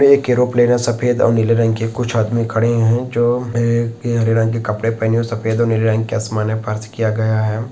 ये एक एरोप्लेन है सफ़ेद अउ नीले रंग के कुछ आदमी खड़े है जो में के हरे रंग के कपड़े पहने हुए है सफ़ेद और नीले रंग आसमाने पर्स किया गया हैं।